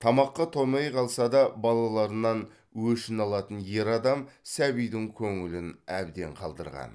тамаққа тоймай қалса да балаларынан өшін алатын ер адам сәбидің көңілін әбден қалдырған